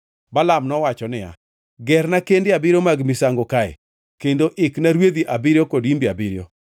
Balaam nowacho niya, “Gerna kende abiriyo mag misango kae, kendo ikna rwedhi abiriyo kod imbe abiriyo.”